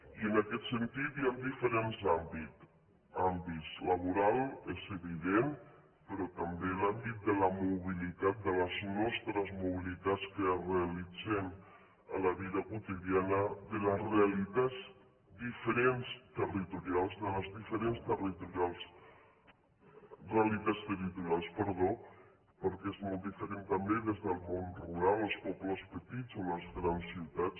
i en aquest sentit hi han diferents àmbits laboral és evident però també l’àmbit de la mobilitat de les nostres mobilitats que realitzem en la vida quotidiana de les diferents realitats territorials perquè és molt diferent també des del món rural els pobles petits o les grans ciutats